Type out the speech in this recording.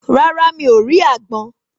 Rárá mi o rí àgbọn